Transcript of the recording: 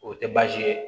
O tɛ baasi ye